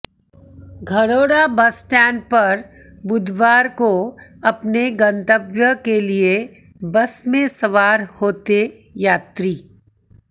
Gharaunda bus stand पर बुधवार को अपने गंतव्य के लिए बस में सवार होते यात्री